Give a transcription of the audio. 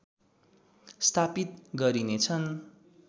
स्थापित गरिनेछन्